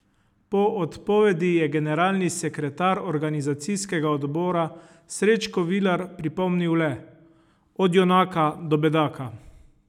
Po odpovedi je generalni sekretar organizacijskega odbora Srečko Vilar pripomnil le: 'Od junaka do bedaka.